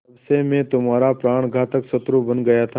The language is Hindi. तब से मैं तुम्हारा प्राणघातक शत्रु बन गया था